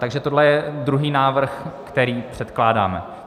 Takže tohle je druhý návrh, který předkládáme.